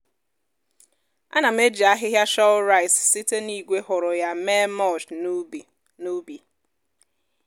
ana m eji ahịhịa shọl rice site na igwe hụrụ ya mee mulch n'ubi. n'ubi.